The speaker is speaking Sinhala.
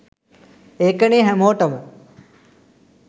ඒකනේ හැමෝටම